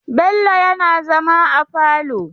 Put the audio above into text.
Bello yana zama a falo.